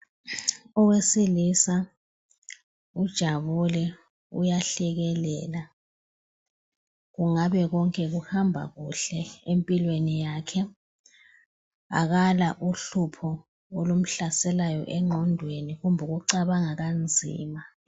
Owesilisa ujabule uyahlekelela kungabe konke kuhamba kuhle empilweni yakhe Akala uhlupho olumhlasekayo engqondweni kumbe ukucabanga kanzima